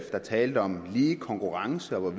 talte om lige konkurrence og